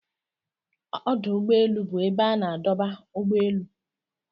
Ọdụ úgbọélụ́ bụ ebe a na-adọba ụ́gbọ elụ.